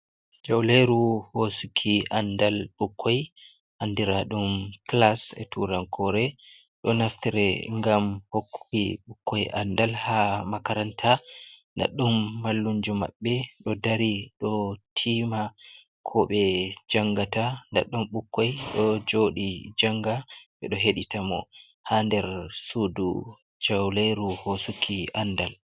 Jawleeru hoosuki anndal ɓukkoy, anndira ɗum kilas e turankoore. Ɗo naftire ngam hokkuki ɓukkoy anndal, haa makaranta. Daɗɗum mallumjo maɓɓe ɗo dari, ɗo tiima ko ɓe janngata. Daɗɗum ɓukkoy ɗo jooɗi jannga, ɓe ɗo heɗita mo, haa nder suudu jawleeru hoosuki anndal.